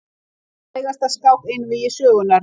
Frægasta skák einvígi sögunnar.